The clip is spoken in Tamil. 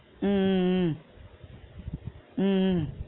உம் உம் உம் உம் உம்